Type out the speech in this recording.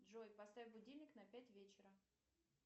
джой поставь будильник на пять вечера